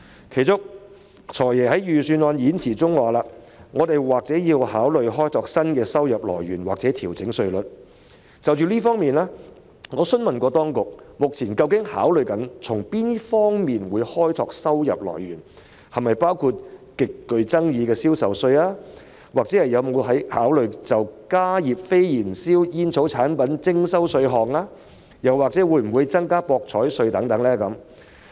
其中，"財爺"在預算案演辭中提到："我們或要考慮開拓新的收入來源或調整稅率"，我曾就此詢問當局，究竟政府目前正考慮從哪些方面開拓收入來源，是否包括極具爭議的銷售稅、有否考慮就加熱非燃燒煙草產品徵收稅項，以及會否增加博彩稅等。